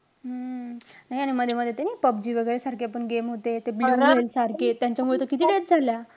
हम्म नाही आणि मध्ये मध्ये ते नि पबजी वैगेरे सारखे पण game होते. सारखे त्यांच्यामुळे तर किती झाल्या.